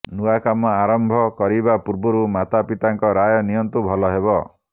ନୂଆ କାମ ଆରମ୍ଭ କରିବା ପୂର୍ବରୁ ମାତାପିତାଙ୍କ ରାୟ ନିଅନ୍ତୁ ଭଲ ହେବ